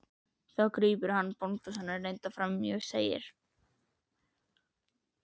Þá grípur annar, bóndasonur reyndar, fram í og segir